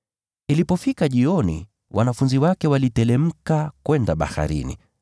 Ilipofika jioni, wanafunzi wake waliteremka kwenda baharini.